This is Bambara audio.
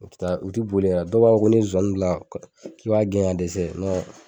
O be taa u ti boli wɛrɛ dɔw ko ni ye zonzani bila k'i b'a gɛn ka dɛsɛ nɔ